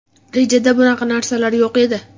Rejada bunaqa narsalar yo‘q edi.